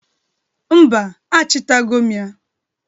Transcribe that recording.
Mba, achịtago m ya.